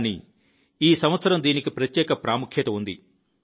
కాని ఈ సంవత్సరం దీనికి ప్రత్యేక ప్రాముఖ్యత ఉంది